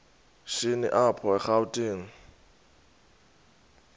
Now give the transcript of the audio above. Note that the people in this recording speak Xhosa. shini apho erawutini